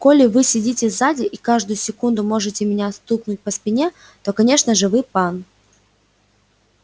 коли вы сидите сзади и каждую секунду можете меня стукнуть по спине то конечно же вы пан